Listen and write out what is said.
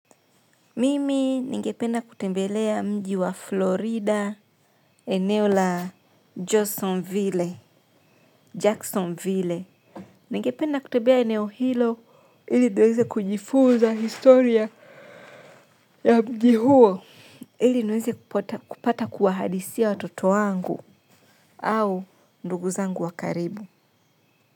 Mimi ningependa kutembelea mji wa Florida. Eneo la Jacksonville Jacksonville ningependa kutembea eneo hilo ili niweze kujifunza historia ya mji huo ili niweze kupata kuwahadithia watoto wangu au ndugu zangu wa karibu h.